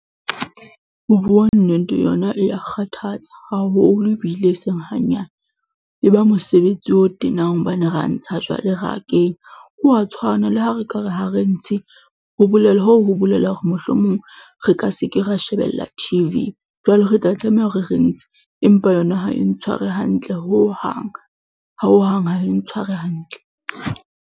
Ho bua nnete yona e ya kgathatsa haholo ebile e seng hanyane, e ba mosebetsi o tenang hobane ra ntsha jwale ra kenya, ho a tshwana le ha re ka re ha re ntshe hoo ho bolela hore mohlomong re ka se ke ra shebella T_V jwale re tla tlameha hore re ntshe empa yona ha e ntshware hantle hohang, hohang ha e ntshware hantle.